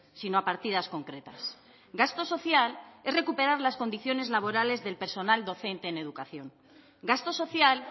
sino a partidas concretas gasto social es recuperar las condiciones laborales del personal docente en educación gasto social